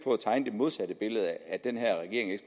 modsatte billede nemlig at den her regering